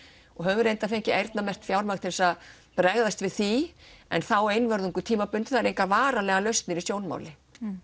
og höfum reyndar fengið eyrnamerkt fjármagn til að bregðast við því en þá einvörðungu tímabundið það eru engar varanlegar lausnir í sjónmáli